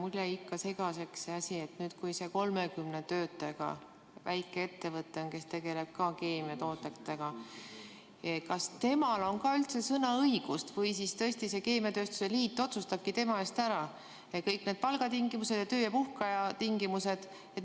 Mulle jäi ikka segaseks see asi, et kas sellel 30 töötajaga väikeettevõttel, kes tegeleb ka keemiatoodetega, on üldse sõnaõigust või tõesti see keemiatööstuse liit otsustabki tema eest ära kõik palgatingimused, töö- ja puhkeaja tingimused.